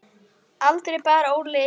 Aldrei bar Óli yfir ána.